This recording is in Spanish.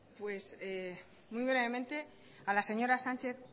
sí muy brevemente a la señora sánchez